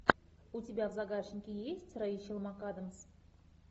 у тебя в загашнике есть рэйчел макадамс